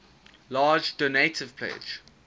large donative pledge